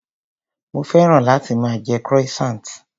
Mo féràn láti máa jẹ croissant.